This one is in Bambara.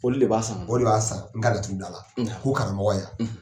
Olu de b'a san o de b'a san n ka laturu bila a la ko karamɔgɔ yan.